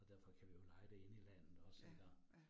Og derfor kan vi jo leje det inde i landet også iggå